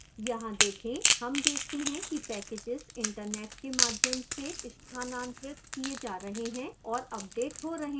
यहाँ देखें हम देखते हैं कि packages internet के माध्यम से स्थानांतरित किए जा रहे हैं और अपडेट हो रहे हैं